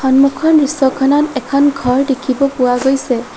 সন্মুখৰ দৃশ্যখনত এখন ঘৰ দেখিব পোৱা গৈছে।